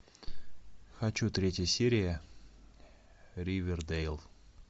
хочу третья серия ривердейл